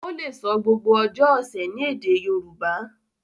o le so gbogbo ojó ọsẹ ní èdè Yorùbá.